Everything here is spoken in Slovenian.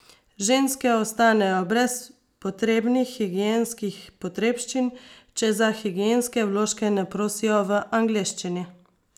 Ženske ostanejo brez potrebnih higienskih potrebščin, če za higienske vložke ne prosijo v angleščini.